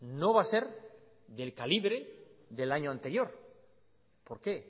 no va a ser del calibre del año anterior por qué